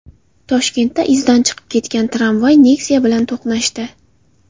Toshkentda izdan chiqib ketgan tramvay Nexia bilan to‘qnashdi.